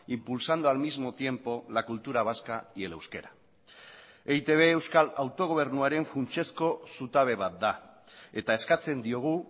impulsando al mismo tiempo la cultura vasca y el euskera eitb euskal autogobernuaren funtsezko zutabe bat da eta eskatzen diogu